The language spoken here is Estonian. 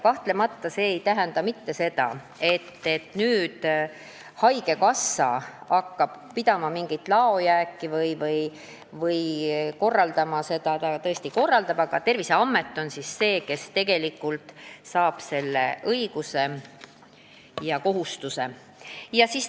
Kahtlemata ei tähenda see mitte seda, et nüüd haigekassa hakkab pidama mingit laojääki või korraldama seda, vaid Terviseamet on see, kes tegelikult saab selle õiguse ja kohustuse.